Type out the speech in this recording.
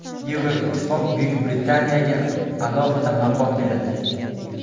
Yevroittifoq Buyuk Britaniyaga alohida maqom beradi.